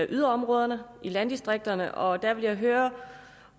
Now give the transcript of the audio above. yderområderne i landdistrikterne og der vil jeg høre